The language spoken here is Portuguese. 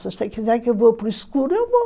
Se você quiser que eu vou para o escuro, eu vou.